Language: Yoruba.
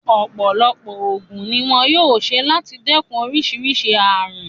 Ọ̀pọ̀lọpọ̀ ògùn ni wón yóò ṣe láti dẹ́kun oríṣìíríṣìí ààrùn.